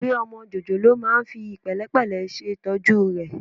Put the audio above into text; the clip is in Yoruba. Òbí ọmọ jòjòló máa ń fi pẹ̀lẹ́pẹ̀lẹ́ ṣètọ́jú rẹ̀